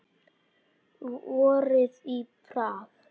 Vorið í Prag